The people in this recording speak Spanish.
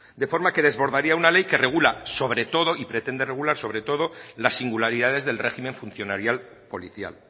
de forma que desbordaría una ley que regula sobre todo y pretende regular sobre todo las singularidades del régimen funcionarial policial